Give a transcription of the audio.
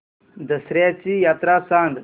दसर्याची यात्रा सांगा